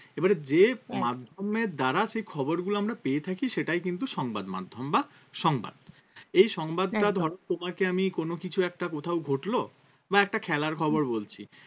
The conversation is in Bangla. এবারে যে একদম মাধ্যমের দ্বারা সে খবরগুলো আমরা পেয়ে থাকি সেটাই কিন্তু সংবাদ মাধ্যম বা সংবাদ এই সংবাদটা একদম ধরো তোমাকে আমি কোন কিছু একটা কোথাও ঘটল বা একটা খেলার খবর বলছি